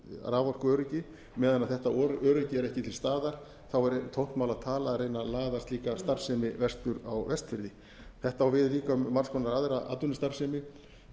raforkuöryggi meðan þetta öryggi er ekki til staðar er tómt mál að tala um að reyna að laða slíka starfsemi vestur á vestfirði þetta á við líka um margs konar aðra atvinnustarfsemi